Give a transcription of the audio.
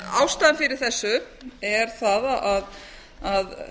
ástæðan fyrir þessu er sú að